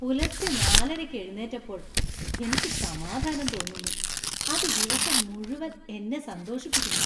പുലർച്ചെ നാലരയ്ക്ക് എഴുന്നേറ്റപ്പോൾ എനിക്ക് സമാധാനം തോന്നുന്നു , അത് ദിവസം മുഴുവൻ എന്നെ സന്തോഷിപ്പിക്കുന്നു.